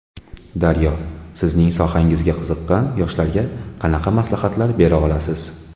Daryo: Sizning sohangizga qiziqqan yoshlarga qanaqa maslahatlar bera olasiz?